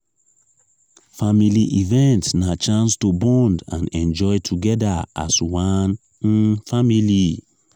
family event na chance to bond and enjoy together as one um family.